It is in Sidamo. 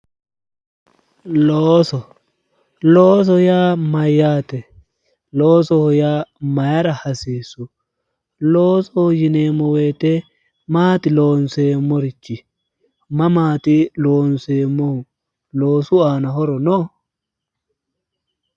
looso looso yaa mayyaate? loosoho yaa mayira hasiissu? loosoho yineemmo woyite maati loonseemmorichi? mamaati loonseemmohu? loosu aana horo no?